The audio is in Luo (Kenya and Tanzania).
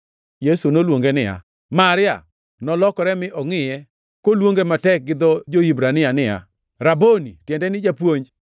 Yesu noluonge niya, “Maria!” Nolokore mi ongʼiye koluonge matek gi dho jo-Hibrania niya, “Raboni!” (tiende ni “Japuonj”).